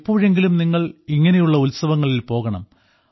എപ്പോഴെങ്കിലും നിങ്ങൾ ഇങ്ങനെയുള്ള ഉത്സവങ്ങളിൽ പോകണം